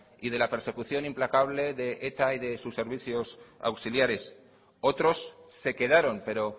y de la persecución implacable de eta y de sus servicios auxiliares otros se quedaron pero